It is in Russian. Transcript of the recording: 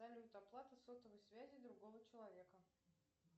салют оплата сотовой связи другого человека